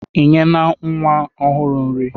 Ị nyena nwa ọhụrụ nri?